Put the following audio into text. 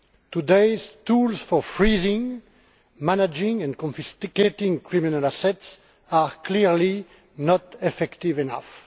Today's tools for freezing, managing and confiscating criminal assets are clearly not effective enough.